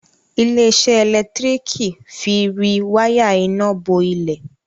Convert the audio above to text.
ile-iṣẹ elekitiriki fí rí waya iná bó ilé.